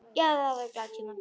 Já, þetta voru glaðir tímar.